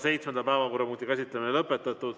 Seitsmenda päevakorrapunkti käsitlemine on lõpetatud.